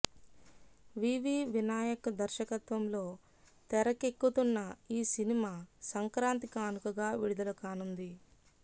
వివి వినాయక్ దర్శకత్వంలో తెరకె క్కుతున్న ఈ సినిమా సంక్రాంతి కానుకగా విడుదల కానుంది